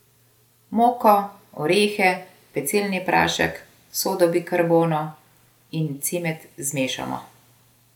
Moko, orehe, pecilni prašek, sodo bikarbono in cimet zmešamo.